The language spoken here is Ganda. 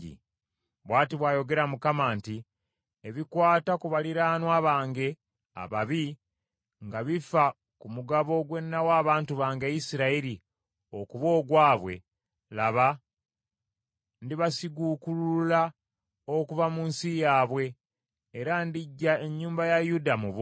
Bw’ati bw’ayogera Mukama nti, “Ebikwata ku baliraanwa bange ababi nga bifa ku mugabo gwe nawa abantu bange Isirayiri okuba ogwabwe, laba ndibasiguukulula okuva mu nsi yaabwe, era ndiggya ennyumba ya Yuda mu bo.